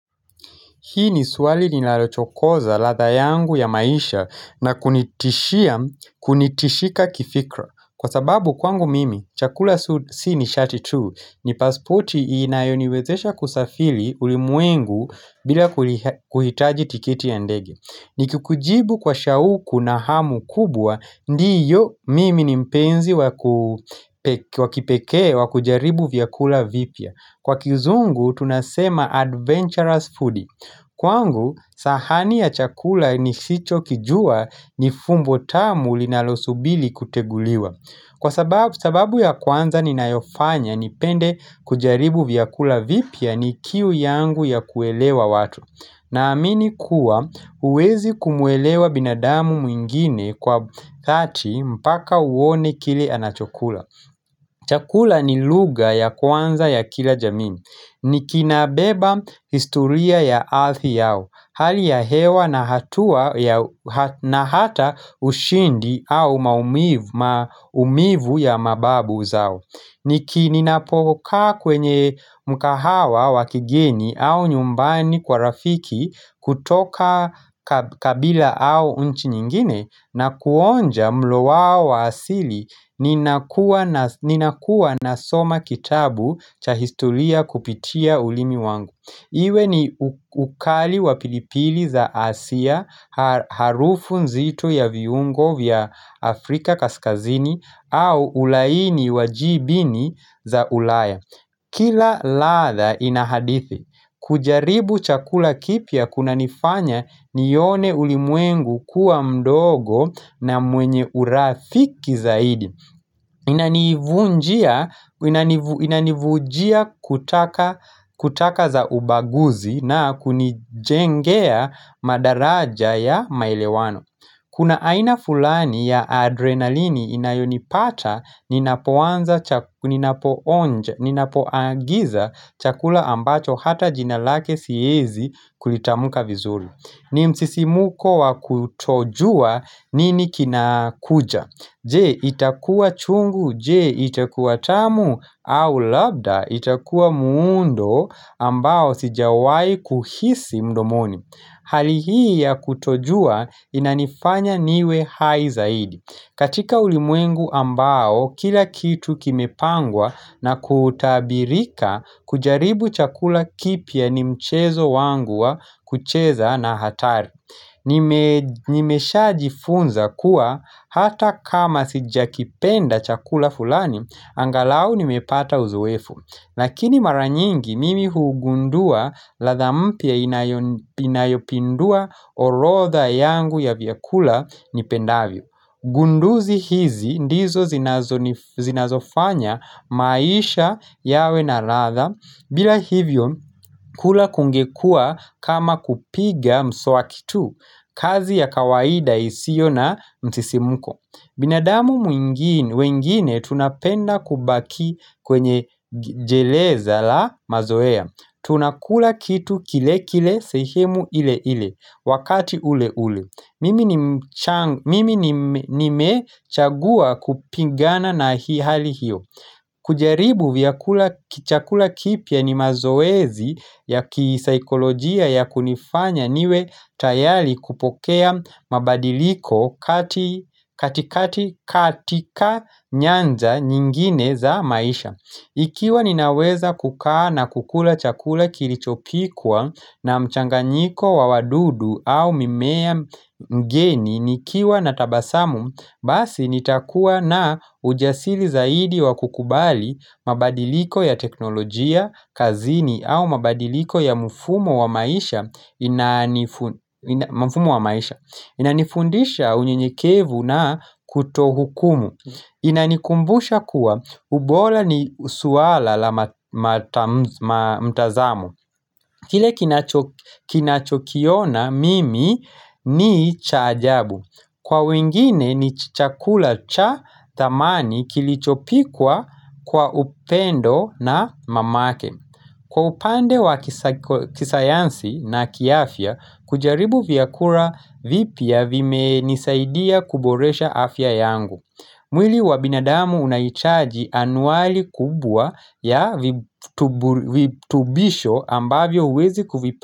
Hii ni swali ninalochokoza ladha yangu ya maisha na kunitishia kunitishika kifikra. Kwa sababu kwangu mimi, chakula si ni shati tu. Ni paspoti inayoniwezesha kusafiri ulimwengu bila kuhitaji tikiti ya ndege. Nikikujibu kwa shauku na hamu kubwa, ndio mimi ni mpenzi wakipekee wakujaribu vyakula vipya. Kwa kizungu tunasema adventurous foodie. Kwangu, sahani ya chakula nisicho kijua ni fumbo tamu linalosubiri kuteguliwa. Kwa sababu ya kwanza ninayofanya, nipende kujaribu vyakula vipya ni kiu yangu ya kuelewa watu. Naamini kuwa, huwezi kumuelewa binadamu mwingine kwa kati mpaka uone kile anachokula. Chakula ni lugha ya kwanza ya kila jamii. Ni kinabeba historia ya ardhi yao, hali ya hewa na hatau na hata ushindi au maumivu ya mababu zao Niki ninapokaa kwenye mkahawa wa kigeni au nyumbani kwa rafiki kutoka kabila au nchi nyingine na kuonja mlo wao wa asili ninakuwa nasoma kitabu cha historia kupitia ulimi wangu Iwe ni ukali wa pilipili za hasia, harufu nzito ya viungo vya Afrika kaskazini au ulaini wa jibini za ulaya Kila ladha inahadithi, kujaribu chakula kipya kunanifanya nione ulimwengu kuwa mdogo na mwenye urafiki zaidi Inanivunjia kutaka za ubaguzi na kunijengea madaraja ya maelewano Kuna aina fulani ya adrenalini inayonipata ninapoanza ninapoonja, ninapoagiza chakula ambacho hata jina lake siezi kulitamuka vizuri ni msisimuko wa kutojua nini kinakuja Je itakuwa chungu, je itakuwa tamu, au labda itakuwa muundo ambao sijawahi kuhisi mdomoni. Hali hii ya kutojua inanifanya niwe hai zaidi. Katika ulimwengu ambao kila kitu kimepangwa na kutabirika kujaribu chakula kipya ni mchezo wangu wa kucheza na hatari. Nimeshajifunza kuwa hata kama sijakipenda chakula fulani angalau nimepata uzoefu Lakini mara nyingi mimi hugundua ladha mpya inayopindua orodha yangu ya vyakula nipendavyo Gunduzi hizi ndizo zinazofanya maisha yawe na ladha bila hivyo kula kungekuwa kama kupiga mswaki tu kazi ya kawaida isiyo na msisimko binadamu mwingine wengine tunapenda kubaki kwenye jeleza la mazoea Tunakula kitu kile kile sehemu ile ile Wakati ule ule mimi ni Mimi nimechagua kupigana na hali hiyo kujaribu vyakula kichakula kipya ni mazoezi ya kisaikolojia ya kunifanya niwe tayari kupokea mabadiliko kati katika nyanja nyingine za maisha. Ikiwa ninaweza kukaa na kukula chakula kilichopikwa na mchanganyiko wa wadudu au mimea mgeni nikiwa na tabasamu Basi nitakuwa na ujasiri zaidi wa kukubali mabadiliko ya teknolojia, kazini au mabadiliko ya mfumo wa maisha inanifundisha unyenyekevu na kutohukumu Inanikumbusha kuwa ubora ni swala la mtazamo Kile kinachokiona mimi ni cha ajabu Kwa wengine ni chakula cha thamani kilichopikwa kwa upendo na mamake Kwa upande wa kisayansi na kiafya kujaribu vyakula vipya vimenisaidia kuboresha afya yangu mwili wa binadamu unahitaji anuali kubwa ya vitubisho ambavyo huwezi kuvipa.